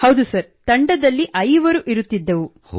ಹೌದು ಸರ್ ತಂಡದಲ್ಲಿ ಐವರು ಇರುತ್ತಿದ್ದೆವು